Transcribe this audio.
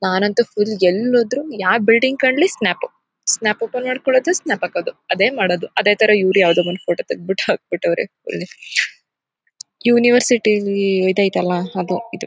ನಾನಂತು ಫುಲ್ ಎಲ್ ಹೋದ್ರು ಯಾವ ಬಿಲ್ಡಿಂಗ್ ಕಾಣಲಿ ಸ್ನ್ಯಾಪ್ ಸ್ನ್ಯಾಪ್ ಓಪನ್ ಮಾಡ್ಕೊಳ್ಳೋದು ಸ್ನ್ಯಾಪ್ ಹಾಕೋದು ಅದೇ ಮಾಡೋದು. ಅದೇ ತರ ಇವ್ರು ಯಾವುದೊ ಫೋಟೋ ತೆಗೆದ್ಬಿಟ್ಟು ಹಾಕ್ ಬಿಟ್ಟವ್ರೆ ಇಲ್ಲಿ ಯುನಿವೆರ್ಸಿಸ್ಟಿಲಿ ಇದಯಿತಲ್ಲ ಅದು ಇದು.